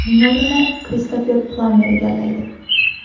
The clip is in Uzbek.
Uning o‘rnini Kristofer Plammer egallaydi.